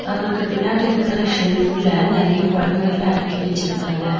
அவருக்கு பின்னாடி இருக்கற ஷெல்ஃப்ல நறைய பொடவைங்கல்லா அடுக்கி வெச்சிருக்காங்க.